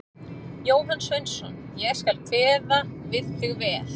Jóhann Sveinsson: Ég skal kveða við þig vel.